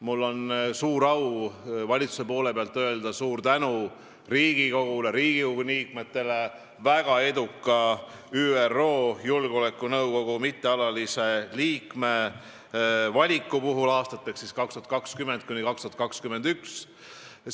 Mul on suur au valitsuse nimel öelda suur tänu Riigikogule, Riigikogu liikmetele, et ÜRO Julgeolekunõukogu mittealalise liikme valik aastateks 2020–2021 oli meile väga edukas.